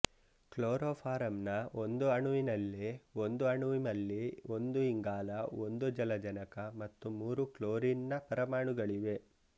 chloroform ನ ಒಂದು ಅಣುವಿನಲ್ಲಿ ಒಂದು ಅಣುವಿಮಲ್ಲಿ ಒಂದು ಇಂಗಾಲ ಒಂದು ಜಲಜನಕ ಮತ್ತು ಮೂರು ಕ್ಲೋರಿನ್ ನ ಪರಮಾಣುಗಳಿವೆ